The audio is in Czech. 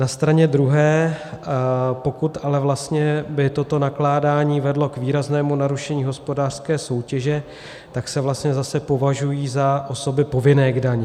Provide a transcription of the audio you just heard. Na straně druhé pokud ale vlastně by toto nakládání vedlo k výraznému narušení hospodářské soutěže, tak se vlastně zase považují za osoby povinné k dani.